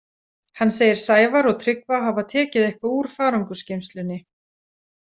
Hann segir Sævar og Tryggva hafa tekið eitthvað úr farangursgeymslunni.